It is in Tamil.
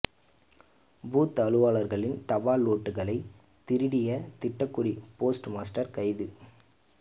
பூத் அலுவலர்களின் தபால் ஓட்டுக்களை திருடிய திட்டக்குடி போஸ்ட் மாஸ்டர் கைது